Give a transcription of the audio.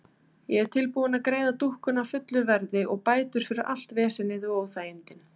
Ég er tilbúin að greiða dúkkuna fullu verði og bætur fyrir allt vesenið og óþægindin.